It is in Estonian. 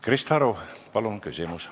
Krista Aru, palun küsimus!